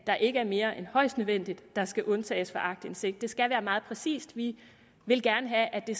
der ikke er mere end højst nødvendigt der skal undtages fra aktindsigt det skal være meget præcist vi vil gerne have at det